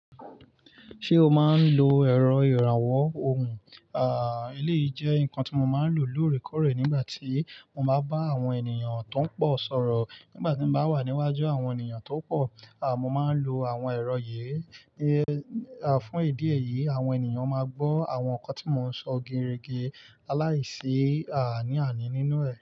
Ṣé o máa ń lo ẹ̀rọ ìrànwọ́ ohùn? Ah, eléyìí jẹ́ nǹkan tí mo máa ń lò lóòrèkóòrè nígbà tí mo bá bá àwọn ènìyàn tó ń pọ̀ sọ̀rọ̀. Nígbà tí mo bá wà níwájú àwọn ènìyàn tó pọ̀, ah, mo máa ń lo àwọn ẹ̀rọ yìí. Ah, fún ìdí èyí, àwọn ènìyàn máa gbọ́ àwọn nǹkan tí mo ń sọ geerege aláìsí, ah, ní àní nínú ẹ̀.